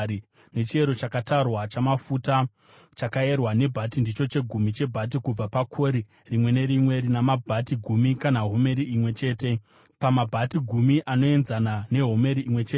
Nechiyero chakatarwa chamafuta, chakayerwa nebhati, ndicho chegumi chebhati kubva pakori rimwe nerimwe (rina mabhati gumi kana homeri imwe chete, pamabhati gumi anoenzana nehomeri imwe chete).